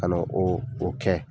Ka na o o kɛ.